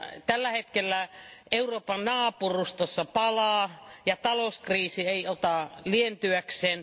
Tällä hetkellä Euroopan naapurustossa palaa ja talouskriisi ei ota lientyäkseen.